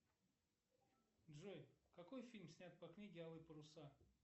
фразы короткие длинные на различную тематику ну